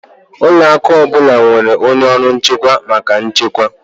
Ụlọ akụ ọ bụla nwere onye ọrụ nchekwa maka nchekwa